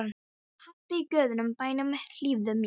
Haddi í guðanna bænum, hlífðu mér!